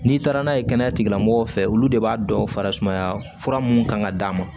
N'i taara n'a ye kɛnɛya tigilamɔgɔw fɛ olu de b'a dɔn fara sumaya fura mun kan ka d'a ma